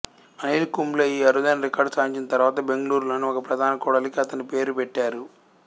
అనిల్ కుంబ్లే ఈ అరుదైన రికార్డు సాధించిన తర్వాత బెంగుళూరు లోని ఒక ప్రధాన కూడలికి అతని పేరు పెట్టారు